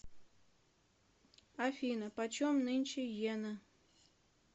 афина почем нынче йена